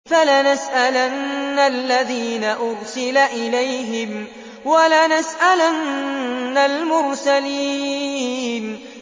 فَلَنَسْأَلَنَّ الَّذِينَ أُرْسِلَ إِلَيْهِمْ وَلَنَسْأَلَنَّ الْمُرْسَلِينَ